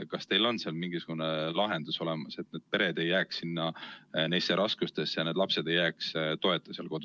Kas teil on mingisugune lahendus olemas, et need pered ei jääks nendesse raskustesse rabelema ja need lapsed ei jääks kodus toeta?